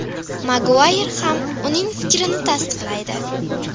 Maguayr ham uning fikrini tasdiqlaydi.